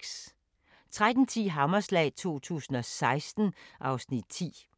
13:10: Hammerslag 2016 (Afs. 10)